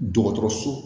Dɔgɔtɔrɔso